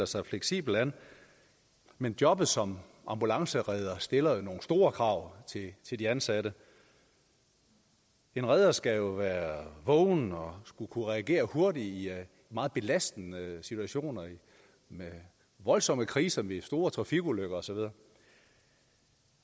sig fleksibelt men jobbet som ambulanceredder stiller jo nogle store krav til de ansatte en redder skal være vågen og skal kunne reagere hurtigt i meget belastende situationer med voldsomme kriser ved store trafikulykker